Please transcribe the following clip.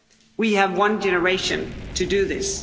We have one generation to do this.